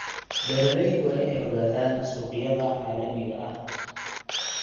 Beeraleydu waa inay ogaadaan suuqyada caalamiga ah.